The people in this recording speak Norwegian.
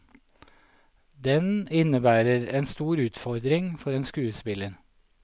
Den innebærer en stor utfordring for en skuespiller.